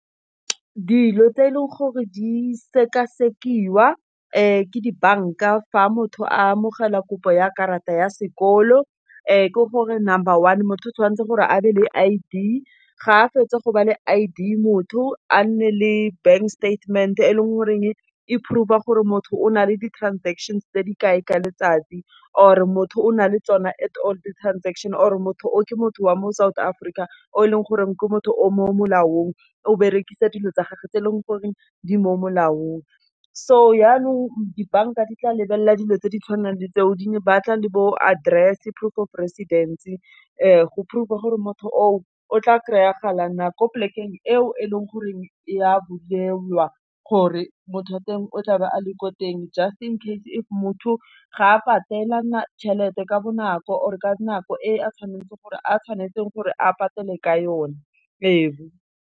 Dilo tse e leng gore di sekasekiwa, ke dibanka a fa motho a amogela kopo ya karata ya sekolo ke gore number one, motho o tshwanetse gore a be le I_D, ga fetsa go ba le I_D, motho, a nne le bank statement-e, e leng goreng e proof-a gore motho o na le di-transaction tse di kae ka letsatsi, or motho o na le tsona at all di-transaction or motho o ke motho wa mo South Africa. O e leng gore ke motho o mo molaong, o berekisa dilo tsa gage tse e leng gore di mo molaong. So yanong dibanka di tla lebelela dilo tse di tshwanang le tseo di ne ba tla le bo address-e, proof of residence-e, go proof-a gore motho o, o tla kry-a gala na, ko pleke-ng e o e leng goreng e a bukelwa, gore motho wa teng o tlabe a le ko teng just in case if motho ga a patela Tšhelete ka bonako or ka nako e a tshwanetseng gore a patele ka yone ebu.